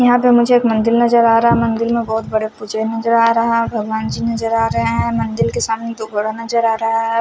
यहां पे मुझे एक मंदिल नजर आ रहा मंदिल में बहोत बड़ा पूजे नजर आ रहा भगवान की नजर आ रहे हैं मंदिल के सामने दो बोरा नजर आ रहा है।